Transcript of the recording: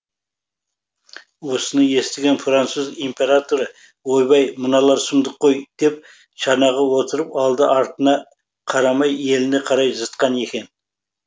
осыны естіген француз императоры ойбай мыналар сұмдық қой деп шанаға отырып алды артына қарамай еліне қарай зытқан екен